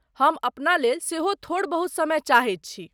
हम अपना लेल सेहो थोड़ बहुत समय चाहैत छी।